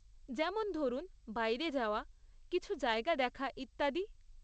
যেমন ধরুন, বাইরে যাওয়া, কিছু জায়গা দেখা, ইত্যাদি।